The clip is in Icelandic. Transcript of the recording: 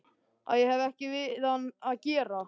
Að ég hefði ekkert við hann að gera.